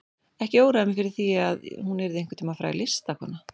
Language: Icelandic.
Ekki óraði mig fyrir því að hún yrði einhvern tíma fræg listakona.